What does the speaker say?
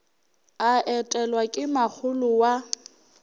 a etelwa ke makgolo wa